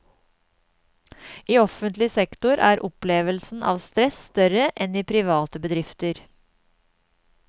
I offentlig sektor er opplevelsen av stress større enn i private bedrifter.